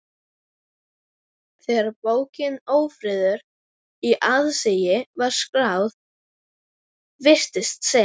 Þegar bókin Ófriður í aðsigi var skráð, virtist sem